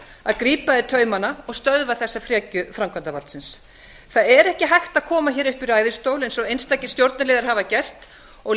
að grípa í taumana og stöðva þessa frekju framkvæmdarvaldsins það er ekki hægt að koma hér upp í ræðustól eins og einstakir stjórnarliðar hafa gert og